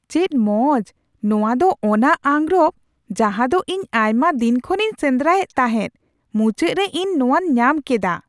ᱪᱮᱫ ᱢᱚᱡ ! ᱱᱚᱣᱟ ᱫᱚ ᱚᱱᱟ ᱟᱸᱜᱨᱚᱯ ᱡᱟᱦᱟ ᱫᱚ ᱤᱧ ᱟᱭᱢᱟ ᱫᱤᱱ ᱠᱷᱚᱱᱤᱧ ᱥᱮᱸᱫᱨᱟᱭᱮᱫ ᱛᱟᱦᱮᱸᱫ ᱾ ᱢᱩᱪᱟᱹᱫ ᱨᱮ ᱤᱧ ᱱᱚᱣᱟᱧ ᱧᱟᱢ ᱠᱮᱫᱟ ᱾